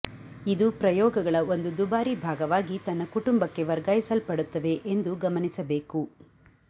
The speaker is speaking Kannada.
ಇದು ಪ್ರಯೋಗಗಳ ಒಂದು ದುಬಾರಿ ಭಾಗವಾಗಿ ತನ್ನ ಕುಟುಂಬಕ್ಕೆ ವರ್ಗಾಯಿಸಲ್ಪಡುತ್ತವೆ ಎಂದು ಗಮನಿಸಬೇಕು